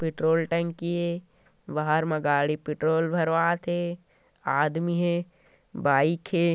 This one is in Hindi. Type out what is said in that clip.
पेट्रोल टंकी ऐ बाहर मा गाड़ी पेट्रोल भरवात हे आदमी हे बाइक हे ।